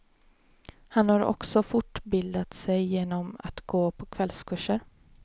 Han har också fortbildat sig genom att gå på kvällskurser.